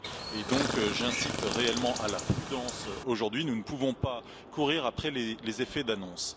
J'appelle donc réellement à la prudence, aujourd'hui nous ne pouvons pas courir après les effets d'annonce.